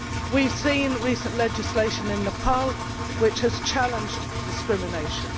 We have seen recent legislation in Nepal which has challenged discrimination.